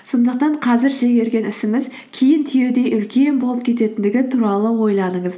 сондықтан қазір шегерген ісіңіз кейін түйедей үлкен болып кететіндігі туралы ойланыңыз